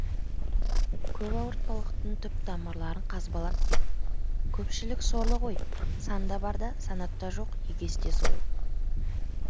көп ауыртпалықтың түп тамырларын қазбалап кеп көпшілік сорлы ғой санда бар да санатта жоқ егесте сойыл